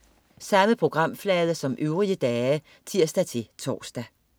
Samme programflade som øvrige dage (tirs-tors)